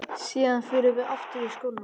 Síðan förum við aftur í skóna.